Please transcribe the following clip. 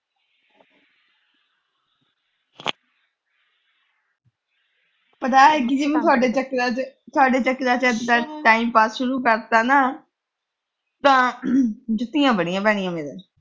ਪਤਾ ਕਿਸੇ ਨੇ ਸਾਡੇ ਚੋਂ ਅਹ ਸਾਡੇ ਚੋਂ ਕਿਸੇ ਨੇ time pass ਸ਼ੁਰੂ ਕਰਤਾ ਨਾ, ਤਾਂ ਜੁੱਤੀਆਂ ਬੜੀਆਂ ਪੈਣੀਆਂ ਫਿਰ।